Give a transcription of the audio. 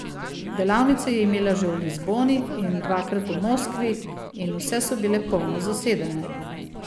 Delavnice je imela že v Lizboni in dva krat v Moskvi in vse so bile polno zasedene.